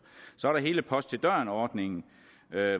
så er der hele post til døren ordningen